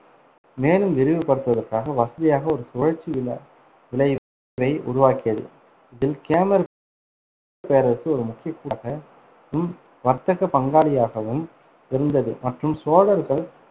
மேலும் விரிவுபடுத்துவதற்காக வசதியாக ஒரு சுழற்சி வில~ விளைவை உருவாக்கியது. இதில், கேமர் பேரரசு ஒரு முக்கிய வர்த்தக பங்காளியாகவும் இருந்தது மற்றும் சோழர்கள்